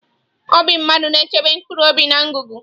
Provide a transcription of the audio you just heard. Obi mmadụ na-echebe mkpụrụobi na ngụgụ.